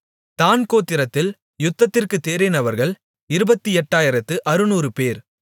தாண் கோத்திரத்தில் யுத்தத்திற்குத் தேறினவர்கள் இருபத்து எட்டாயிரத்து அறுநூறுபேர்